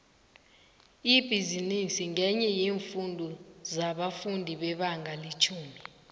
ibhizinisi ngenye yeemfundo zabafundi bebanga letjhumi